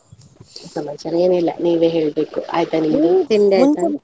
ಸಮಾಚಾರ ಏನಿಲ್ಲ ನೀವೇ ಹೇಳ್ಬೇಕು, ಆಯ್ತಾ ನಿಮ್ದು ತಿಂಡಿ ಆಯ್ತಾ?